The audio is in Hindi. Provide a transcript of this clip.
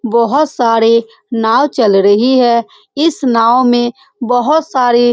बहुत सारे नाव चल रही है इस नाव में बहुत सारे --